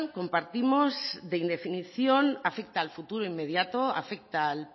compartimos de indefinición afecta al futuro inmediato afecta al